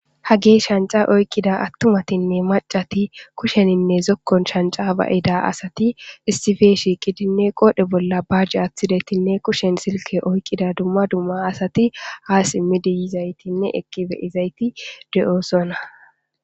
ha gee shanca oyqqida attumatinne macati kusheninne zokkon shanca ba7ida asati istife shiiqidinne qoodhe bolla baajje aththidetinne kushen silke oykqida dumma dumma asati ha simmidiyizaytinne eqqibe izayti de7oosona